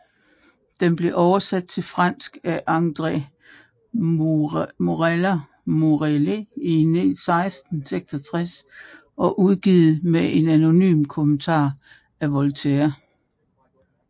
Den blev oversat til fransk af André Morellet i 1766 og udgivet med en anonym kommentar af Voltaire